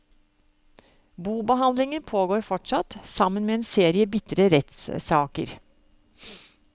Bobehandlingen pågår fortsatt, sammen med en serie bitre rettssaker.